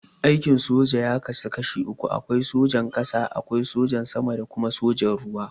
Aikin soja ya kasu kashi uku, akwai sojan ƙasa, akwai na sama da kuma sojan ruwa.